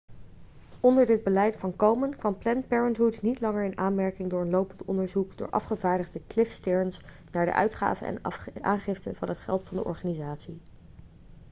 onder dit beleid van komen kwam planned parenthood niet langer in aanmerking door een lopend onderzoek door afgevaardigde cliff stearns naar de uitgave en aangifte van het geld van de organisatie